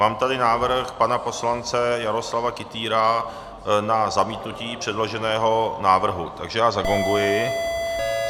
Mám tady návrh pana poslance Jaroslava Kytýra na zamítnutí předloženého návrhu, takže já zagonguji.